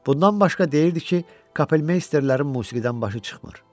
Bundan başqa deyirdi ki, Kapelmeysterlərin musiqidən başı çıxmır.